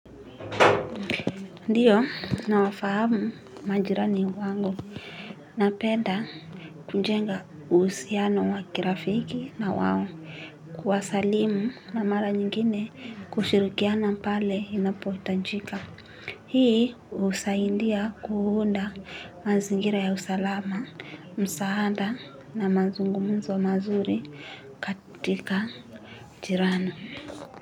Ndiyo, na wafahamu majirani wangu. Napenda kujenga usiano wakirafiki na wawo. Kuwasalimu na mala nyingine kushirikiana pale inapotajika. Hii, usaindia kuhunda mazingira ya usalama, msaada na mazungumzo mazuri katika jirani.